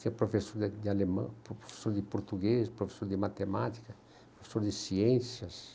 Tinha professor de alemão, professor de português, professor de matemática, professor de ciências.